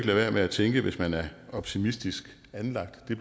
være med at tænke hvis man er optimistisk anlagt at det